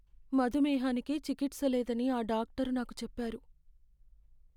మధుమేహానికి చికిత్స లేదని ఆ డాక్టరు నాకు చెప్పారు.